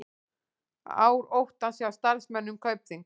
Ár óttans hjá starfsmönnum Kaupþings